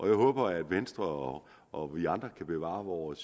jeg håber at venstre og vi andre kan bevare vores